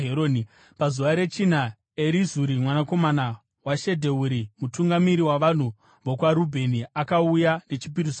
Pazuva rechina, Erizuri mwanakomana waShedheuri, mutungamiri wavanhu vokwaRubheni, akauya nechipiriso chake.